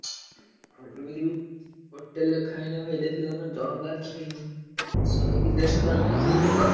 ହଉ ଏମିତି ବି hotel ରେ ଖାଇଲେ ଭାଇ ଦେଖିଦଉନ ଜଣକା ଶହେ କି ଦେଢସହ ଟଙ୍କା ଲେଖା meal ପକାଅ।